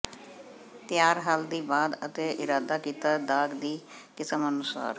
ਤਿਆਰ ਹੱਲ ਦੀ ਬਾਅਦ ਅਤੇ ਇਰਾਦਾ ਕੀਤਾ ਦਾਗ ਦੀ ਕਿਸਮ ਅਨੁਸਾਰ